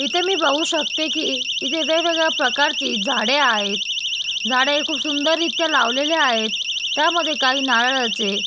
इथे मी बघू शकते कि इथे वेगवेगळ्या प्रकारची झाडे आहेत झाडे हे खूप सुंदर रित्या लावलेले आहेत त्यामध्ये काही नारळाचे--